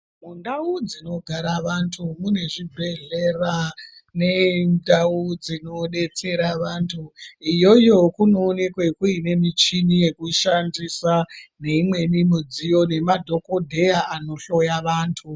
Mundau dzinora vantu mune Zvibhedhlera nendau dzinodetsera vantu iyoyo munoonekwa mune muchini wekushandisa neimweni midziyo nemadhokodheya anohloya vantu.